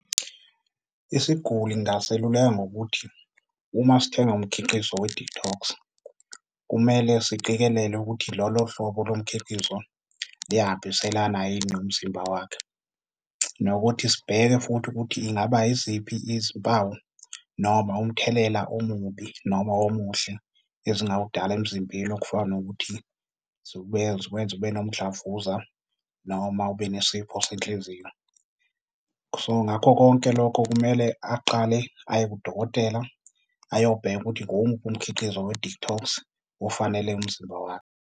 Isiguli ngingaseluleka ngokuthi uma sithenga umkhiqizo we-detox, kumele siqikelele ukuthi lolo hlobo lomkhiqizo liyahambiselana yini nomzimba wakhe nokuthi sibheke futhi ukuthi ingaba yiziphi izimpawu noma umthelela omubi noba omuhle ezingawudala emzimbeni okufana nokuthi zibuye zikwenze ube nomdlavuza noma ube nesifo senhliziyo. So, ngakho konke lokho kumele aqale aye kudokotela ayobheka ukuthi ngomuphi umkhiqizo we-detox ofanele umzimba wakhe.